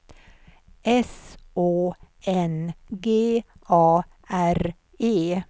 S Å N G A R E